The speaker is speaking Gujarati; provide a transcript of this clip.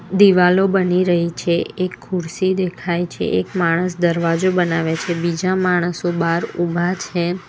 દીવાલો બની રહી છે એ ખુરશી દેખાય છે એક માણસ દરવાજો બનાવે છે બીજા માણસો બહાર ઊભા છે.